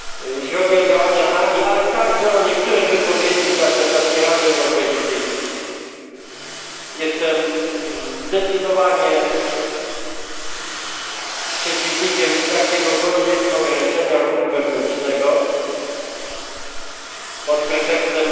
Jeśli chodzi o działania Danii, ale także o niektóre wypowiedzi w czasie ostatniej Rady Europejskiej, jestem zdecydowanie przeciwnikiem jakiegokolwiek ograniczania ruchu wewnętrznego pod pretekstem